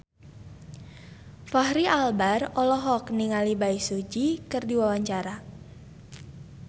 Fachri Albar olohok ningali Bae Su Ji keur diwawancara